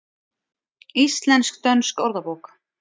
Íslensk-dönsk orðabók.